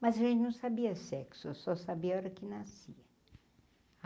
Mas a gente não sabia sexo, eu só sabia a hora que nascia.